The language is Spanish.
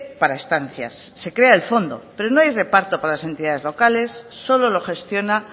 para estancias se crea el fondo pero no hay reparto para las entidades locales solo lo gestiona